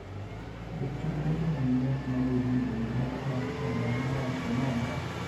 jachung' ne jomany dak ma Burundi ma odak Rwanda nowacho nang'o?